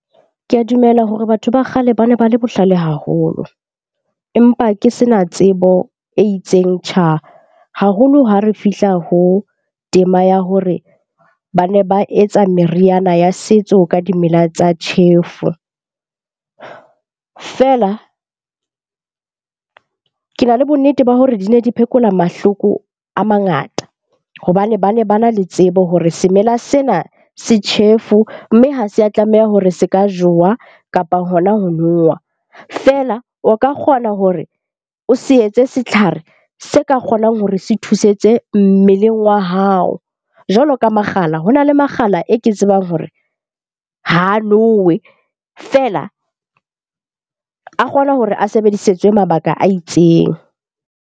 Ke a dumela hore batho ba kgale ba ne ba le bohlale haholo. Empa ke se na tsebo e itseng tjha haholo ha re fihla ho tema ya hore ba ne ba etsa meriana ya setso ka dimela tsa tjhefu. Fela ke na le bonnete ba hore di ne di phekola mahloko a mangata. Hobane bane ba na le tsebo hore semela sena se tjhefo, mme ha se a tlameha hore se ka jowa kapa hona ho nowa. Feela, o ka kgona hore o se etse setlhare se ka kgonang hore se thusetse mmeleng wa hao. Jwalo ka makgala, hona le makgala e ke tsebang hore ha nowe feela a kgona hore a sebedisetswe mabaka a itseng.